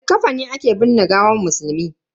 Da likafani ake binne gawan musulmi.